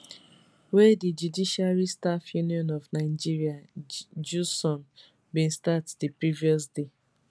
wey di judiciary staff union of nigeria jusun bin start di previous day